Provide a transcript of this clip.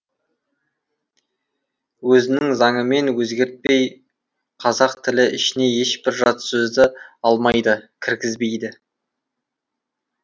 өзінің заңымен өзгертпей қазақ тілі ішіне ешбір жат сөзді алмайды кіргізбейді